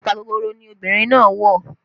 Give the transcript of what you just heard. Bàtà gogoro ni obìnrin náà wọ